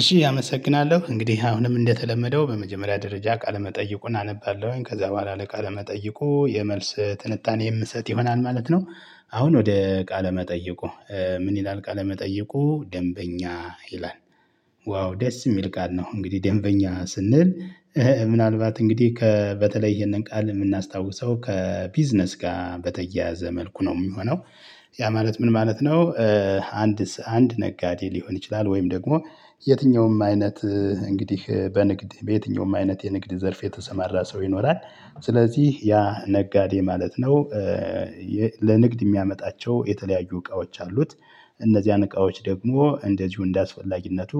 እሺ አመሰግናለሁ እንግዲህ አሁንም እንደተለመደው በመጀመሪያ ደረጃ ቃለመጠይቁን አነባለሁኝ ከዛ በኋላ ለቃለመጠይቁ የመልስ ትንታኔ የምሰጥ ይሆናል ማለት ነው። አሁን ወደ ቃለ መጠይቁ። ምን ይላል ቃለ መጠይቁ ደንበኛ ይላል። ዋው ደስ የሚል ቃል ነው እንግዲህ ደንበኛ ስንል። ምናልባት እንግዲህ ከ በተለይ ይሄንን ቃል የምናስታውሰው ከቢዝነስ ጋር በተያያዘ መልኩ ነው የሚሆነው። ያ ማለት ምን ማለት ነው? አንድ አንድ ነጋዴ ሊሆን ይችላል ወይም ደግሞ የትኛውም አይነት እንግዲህ በንግድ በየትኛውም አይነት የንግድ ዘርፍ የተሰማራ ሰው ይኖራል። ስለዚህ ያ ነጋዴ ማለት ነው። ለንግድ የሚያመጣቸው የተለያዩ እቃዎች አሉት። እነዚህን እቃዎች ደግሞ እንደዚሁ እንደአስፈላጊነቱ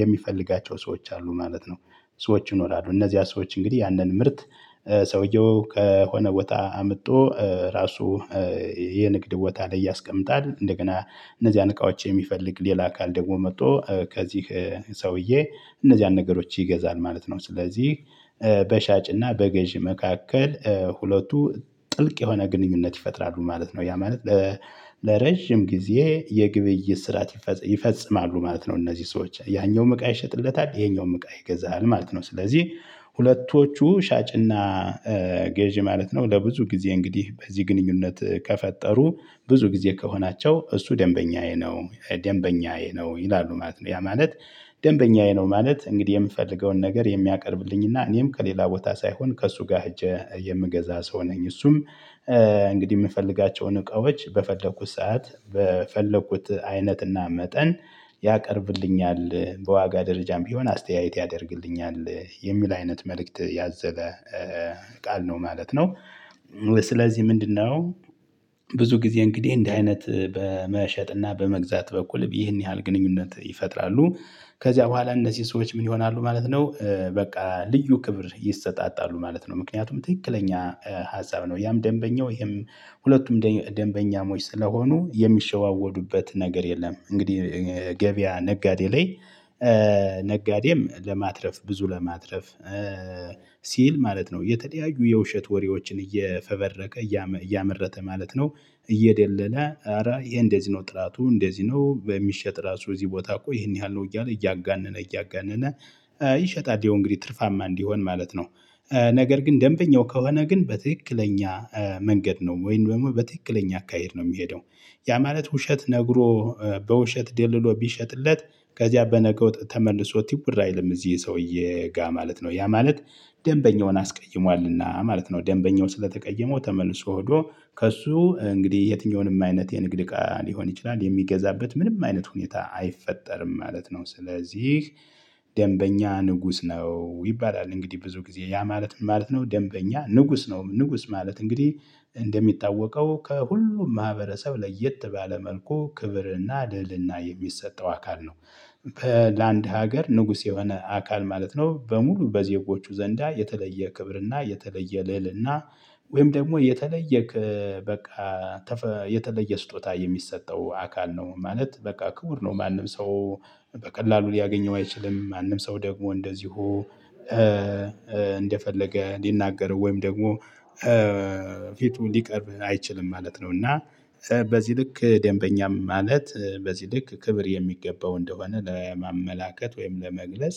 የሚፈልጋቸው ሰዎች አሉ ማለት ነው። ሰዎች ይኖራሉ እነዚህ ሰዎች እንግዲህ ያንን ምርት ሰውየው ከሆነ ቦታ አምጦ ራሱ የንግድ ቦታ ላይ ያስቀምጣል እንደገና። እነዚያን እቃዎች የሚፈልግ ሌላ አካል ደግሞ መጥቶ ከዚህ ሰውዬ እነዚህ ያን ነገሮች ይገዛል ማለት ነው። ስለዚህ። በሻጭና በገዢ መካከል ሁለቱ ጥልቅ የሆነ ግንኙነት ይፈጥራሉ ማለት ነው ያ ማለት። ለረጅም ጊዜ የግብይት ስርዓት ይፈጽማሉ ማለት ነው። እነዚህ ሰዎች ያኛውም እቃ ይሸጥለታል ይሄኛውም እቃ ይገዛል ማለት ነው። ስለዚህ ሁለቶቹ ሻጭና ገዢ ማለት ነው ለብዙ ጊዜ እንግዲህ በዚህ ግንኙነት ከፈጠሩ ብዙ ጊዜ ከሆናቸው እሱ ደንበኛዬ ነው ደንበኛዬ ነው ይላሉ ማለት ነው። ያ ማለት ደንበኛዬ ነው ማለት እንግዲህ የምፈልገውን ነገር የሚያቀርብልኝና እኔም ከሌላ ቦታ ሳይሆን ከእሱ ጋር ሄጄ የምገዛ ሰው ነኝ። እሱም እንግዲህ የምፈልጋቸውን እቃዎች በፈለኩት ሰዓት በፈለኩት አይነትና መጠን ያቀርብልኛል በዋጋ ደረጃም ቢሆን አስተያየት ያደርግልኛል የሚል አይነት መልእክት ያዘለ ቃል ነው ማለት ነው። ስለዚህ ምንድነው? ብዙ ጊዜ እንግዲህ እንዲህ አይነት በመሸጥና በመግዛት በኩል ይህን ያህል ግንኙነት ይፈጥራሉ። ከዚያ በኋላ እነዚህ ሰዎች ምን ይሆናሉ ማለት ነው በቃ ልዩ ክብር ይሰጣጣሉ ማለት ነው። ምክንያቱም ትክክለኛ ሀሳብ ነው ያም ደንበኛው ይሄም ሁለቱም ደንበኛሞች ስለሆኑ የሚሸዋወዱበት ነገር የለም። እንግዲህ ገበያ ነጋዴ ላይ ነጋዴም ለማትረፍ ብዙ ለማትረፍ ሲል ማለት ነው የተለያዩ የውሸት ወሬዎችን እየፈበረከ እያመረተ ማለት ነው። እየደለለ ኧረ ይሄ እንደዚህ ነው ጥራቱ እንደዚህ ነው በሚሸጥ ራሱ እዚህ ቦታ እኮ ይሄን ያህል ነው እያለ እያጋነነ እያጋነነ። ይሸጣል ያው እንግዲህ ትርፋማ እንዲሆን ማለት ነው። ነገር ግን ደንበኛው ከሆነ ግን በትክክለኛ መንገድ ነው ወይም ደግሞ በትክክለኛ አካሄድ ነው የሚሄደው። ያ ማለት ውሸት ነግሮ በውሸት ደልሎ ቢሸጥለት ከዚያ በነገው ተመልሶ ትውር አይልም እዚህ ሰውዬ ጋ ማለት ነው። ያ ማለት ደንበኛውን አስቀይሟልና ማለት ነው። ደንበኛው ስለተቀየመው ተመልሶ ሆዶ ከእሱ እንግዲህ የትኛውንም አይነት የንግድ እቃ ሊሆን ይችላል የሚገዛበት ምንም አይነት ሁኔታ አይፈጠርም ማለት ነው። ስለዚህ ደንበኛ ንጉስ ነው ይባላል። እንግዲህ ብዙ ጊዜ ያ ማለት ምን ማለት ነው? ደንበኛ ንጉስ ነው ንጉስ ማለት እንግዲህ እንደሚታወቀው ከሁሉም ማህበረሰብ ለየት ባለ መልኩ ክብርና ልዕልና የሚሰጠው አካል ነው። ለአንድ ሀገር ንጉስ የሆነ አካል ማለት ነው በሙሉ በዜጎቹ ዘንዳ የተለየ ክብርና የተለየ ልዕልና ወይም ደግሞ የተለየ በቃ የተለየ ስጦታ የሚሰጠው አካል ነው ማለት በቃ ክቡር ነው። ማንም ሰው በቀላሉ ሊያገኘው አይችልም። ማንም ሰው ደግሞ እንደዚሁ እንደፈለገ ሊናገረው ወይም ደግሞ ፊቱ ሊቀርብ አይችልም ማለት ነው። እና በዚህ ልክ ደንበኛም ማለት በዚህ ልክ ክብር የሚገባው እንደሆነ ለማመላከት ወይም ለመግለጽ።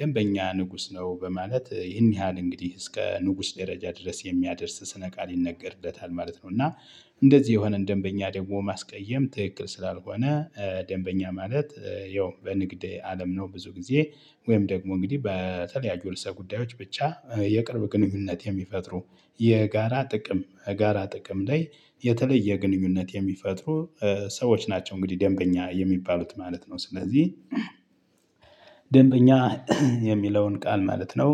ደንበኛ ንጉስ ነው በማለት ይህን ያህል እንግዲህ እስከ ንጉስ ደረጃ ድረስ የሚያደርስ ስነ ቃል ይነገርለታል ማለት ነው። እና እንደዚህ የሆነን ደንበኛ ደግሞ ማስቀየም ትክክል ስላልሆነ። ደንበኛ ማለት ያው በንግድ አለም ነው ብዙ ጊዜ ወይም ደግሞ እንግዲህ በተለያዩ ርዕሰ ጉዳዮች ብቻ የቅርብ ግንኙነት የሚፈጥሩ። የጋራ ጥቅም ጋራ ጥቅም ላይ የተለየ ግንኙነት የሚፈጥሩ ሰዎች ናቸው። እንግዲህ ደንበኛ የሚባሉት ማለት ነው። ስለዚህ ደንበኛ የሚለውን ቃል ማለት ነው።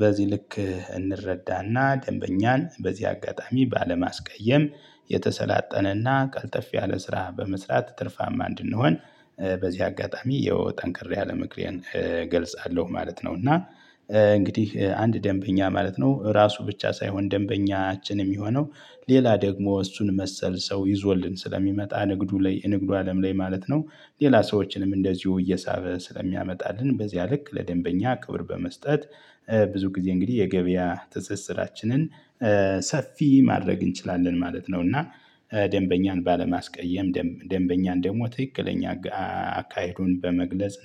በዚህ ልክ እንረዳና ደንበኛን በዚህ አጋጣሚ ባለማስቀየም። የተሰላጠነና ቀልጠፍ ያለ ስራ በመስራት ትርፋማ እንድንሆን በዚህ አጋጣሚ ይኸው ጠንከር ያለ ምክሬን እገልጻለሁ። ማለት ነው። እና እንግዲህ አንድ ደንበኛ ማለት ነው ራሱ ብቻ ሳይሆን ደንበኛችን የሚሆነው ሌላ ደግሞ እሱን መሰል ሰው ይዞልን ስለሚመጣ ንግዱ ላይ ንግዱ አለም ላይ ማለት ነው። ሌላ ሰዎችንም እንደዚሁ እየሳበ ስለሚያመጣልን በዚያ ልክ ለደንበኛ ክብር በመስጠት። ብዙ ጊዜ እንግዲህ የገበያ ትስስራችንን ሰፊ ማድረግ እንችላለን ማለት ነው። እና ደንበኛን ባለማስቀየም ደንበኛን ደግሞ ትክክለኛ አካሄዱን በመግለጽ